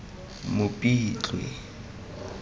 mopitlwe